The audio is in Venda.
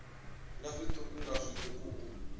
nga zwiṱuku nga zwiṱuku u